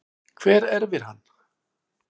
Hver erfir hann?